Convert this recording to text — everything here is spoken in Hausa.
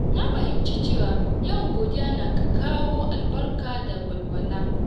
Na fahimci cewa yawan godiya na kawo albarka da walwala.